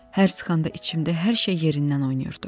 Hər sıxanda içimdə hər şey yerindən oynayırdı.